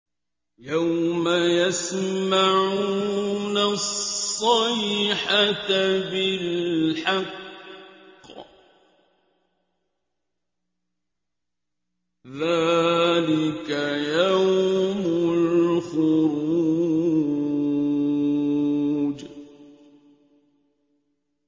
يَوْمَ يَسْمَعُونَ الصَّيْحَةَ بِالْحَقِّ ۚ ذَٰلِكَ يَوْمُ الْخُرُوجِ